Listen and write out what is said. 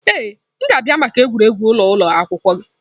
Ee, m ga-abịa maka egwuregwu ụlọ ụlọ akwụkwọ gị.